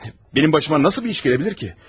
Mənim başıma necə bir iş gələ bilər ki?